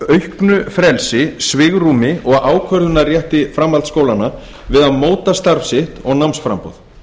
auknu frelsi svigrúmi og ákvörðunarrétti framhaldsskólanna við að móta starf sitt og námsframboð